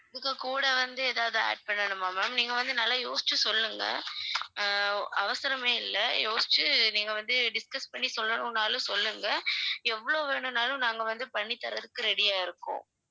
இதுக்கு கூட வந்து எதாவது add பண்ணனுமா ma'am நீங்க வந்து நல்லா யோசிச்சு சொல்லுங்க அஹ் அவசரமே இல்ல யோசிச்சு நீங்க வந்து discuss பண்ணி சொல்லணும் நாளும் சொல்லுங்க எவ்வளவு வேணும்னாலும் நாங்க வந்து பண்ணி தர்றதுக்கு ready யா இருக்கோம்